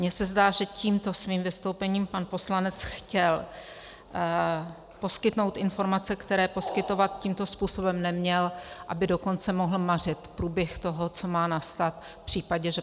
Mně se zdá, že tímto svým vystoupením pan poslanec chtěl poskytnout informace, které poskytovat tímto způsobem neměl, aby dokonce mohl mařit průběh toho, co má nastat v případě, že